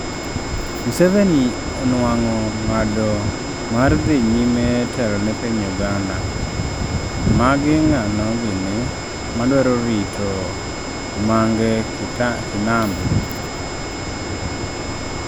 Museveni onuang'o ng'ado mar dhi nyime telo ne piny Uganda, magi ng'ano gini madwaro rito Mange kinambi?